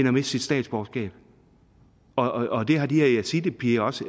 at miste sit statsborgerskab og det har de yazidipiger også